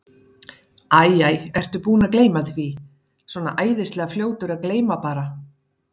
Æ, æ, ertu búinn að gleyma því. svona æðislega fljótur að gleyma bara.